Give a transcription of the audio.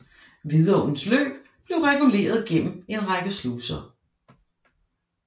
Vidåens løb blev reguleret gennem en række sluser